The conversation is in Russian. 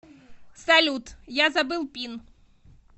салют я забыл пин